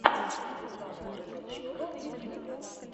светлана кропочева в ютьюбе